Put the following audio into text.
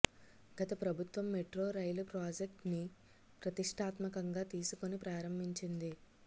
గత ప్రభుత్వం మెట్రో రైలు ప్రాజెక్ట్ ని ప్రతిష్టాత్మకంగా తీసుకొని ప్రారంభించింది